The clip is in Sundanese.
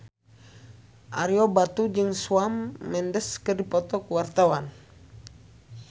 Ario Batu jeung Shawn Mendes keur dipoto ku wartawan